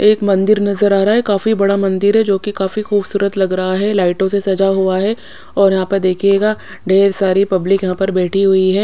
एक मंदिर नज़र आरा है काफी बड़ा मनदिर है जो की खाफी खुबसूरत लग रहा है लाइटो से सजा हुआ है और यहाँ पे देखिएगा ढेर सारी पब्लिक यहाँ पर बेठी हुई है।